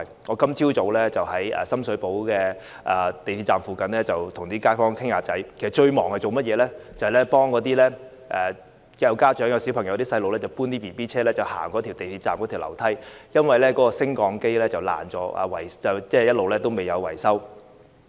我今早在深水埗港鐵站附近與街坊閒聊，其間最忙的是協助帶着小孩的家長搬運嬰兒車，上落港鐵站內的樓梯，因為升降機損壞後一直尚未維修。